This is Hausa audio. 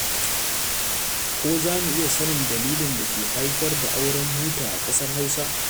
Ko za mu iya sanin dalilin da ke haifar da auren buta a ƙasar Hausa?